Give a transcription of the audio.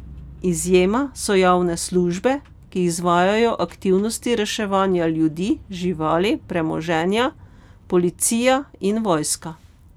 Izjema so javne službe, ki izvajajo aktivnosti reševanja ljudi, živali, premoženja, policija in vojska.